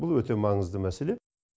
бұл өте маңызды мәселе